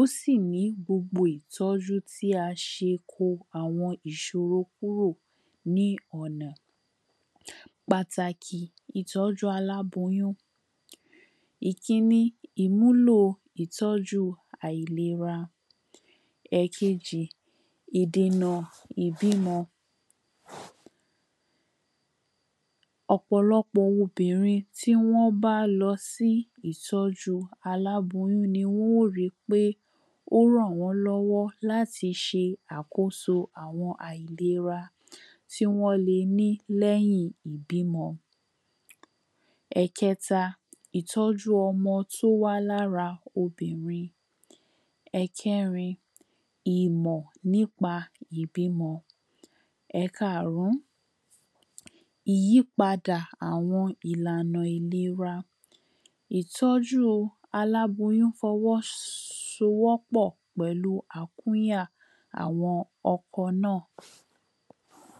Ósì ní gbogbo ìtó̩jú tí a s̩e kó àwo̩n ìs̩òro kúrò ni ò̩nà. Pàtàkì ìtó̩jú aláboyún. ìkíní, Ìmúlò ìtó̩ju àìlera. È̩kejì, ìdena ìbímo̩. O̩po̩ló̩po̩ obìrin tí wó̩n bá lo̩ sí ìtó̩ju aláboyún ni wó̩n yì ó ri pé ó rò̩ wo̩n ló̩wó̩ láti s̩e àkóso àwo̩n àìlera tí wó̩n lení lé̩yìn ìbímo̩. È̩ke̩ta, ìtó̩jú o̩mo̩ tó wá lá ra obìnrin. È̩ké̩rin, ìmò̩ nípa ìbímo̩. È̩káàrún, ìyípadà àwo̩n ìlànà ìlera. Ìtó̩ju aláboyún fo̩wó̩ sowó̩ pò̩ pè̩lu àkúnya àwo̩n o̩ko̩ na.